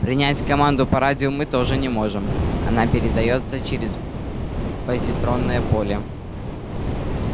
принять команду по радио мы тоже не можем она передаётся через позитронное поле